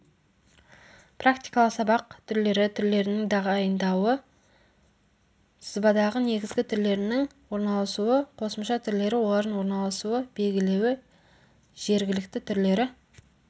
практикалық сабақ түрлері түрлерінің тағайындауы сызбадағы негізгі түрлерінің орналасуы қосымша түрлері олардың орналасуы белгілеуі жергілікті түрлері